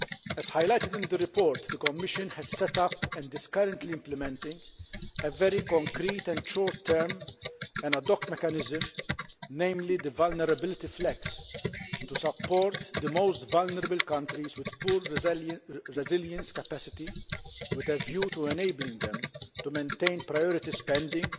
As highlighted in the report, the Commission has set up and is currently implementing a very concrete and short term ad hoc mechanism, named the Vulnerability FLEX, to support the most vulnerable countries with poor resilience capacity, with a view to enabling them to maintain priority spending,